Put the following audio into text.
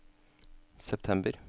september